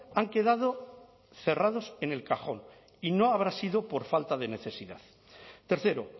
han quedado cerrados en el cajón y no habrá sido por falta de necesidad tercero